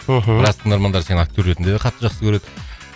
мхм біраз тыңдармандар сені актер ретінде де қатты жақсы көреді